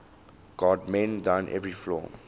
god mend thine every flaw